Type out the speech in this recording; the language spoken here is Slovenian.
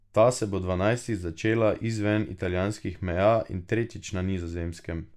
Ta se bo dvanajstič začela izven italijanskih meja in tretjič na Nizozemskem.